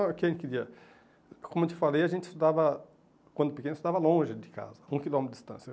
Como eu te falei, a gente estudava, quando pequeno, estudava longe de casa, um quilômetro de distância.